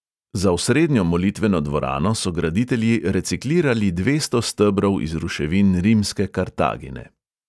Za osrednjo molitveno dvorano so graditelji reciklirali dvesto stebrov iz ruševin rimske kartagine.